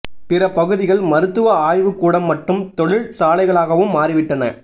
பிற பகுதிகள் மருத்துவ ஆய்வு கூடம் மற்றும் தொழில் சாலைகளாகவும் மாறிவிட்டன